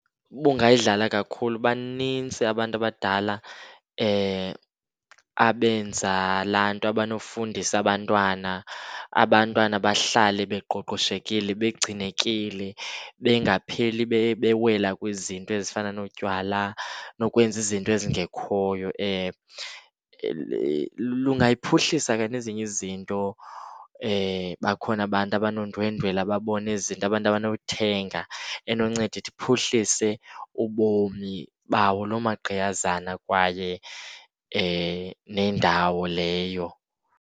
Ubungayidlala kakhulu banintsi abantu abadala abenza laa nto abanofundisa abantwana. Abantwana bahlale beqoqoshekile, begcinekile. Bengapheli bewela kwizinto ezifana notywala nokwenza izinto ezingekhoyo. Lungayiphuhlisa ke nezinye izinto bakhona abantu abanondwendwela babone ezi zinto, abantu abanothenga, enonceda ithi iphuhlise ubomi bawo loo maqgiyazana kwaye nendawo leyo.